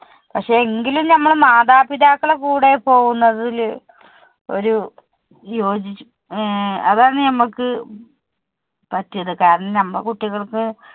പക്ഷെ എങ്കിലും നമ്മൾ മാതാപിതാക്കളുടെ കൂടെ പോകുന്നതിൽ ഒരു ജോയി~ അതാണ് നമുക്ക് പറ്റീത്. കാരണം നമ്മളുടെ കുട്ടികൾക്ക്